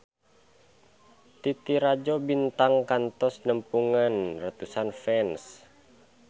Titi Rajo Bintang kantos nepungan ratusan fans